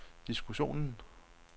diskussionen